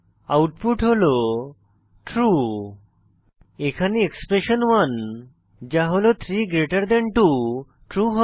output হল true এখানে expression 1 যা হল 32 ট্রু হয়